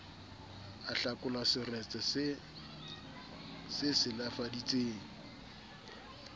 ahlakola seretse se e silafaditseng